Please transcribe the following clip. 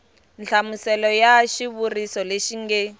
nhlamuselo ya xivuriso lexi nge